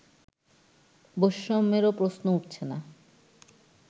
বৈষম্যেরও প্রশ্ন উঠছে না